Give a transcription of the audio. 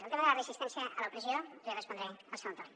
al tema de la resistència a l’opressió li respondré al segon torn